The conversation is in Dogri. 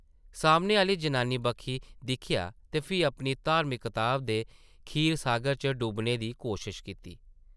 सामने आह्ली जनानी बक्खी दिक्खेआ ते फ्ही अपनी धार्मिक कताब दे खीर-सागर च डुब्बने दी कोशश कीती ।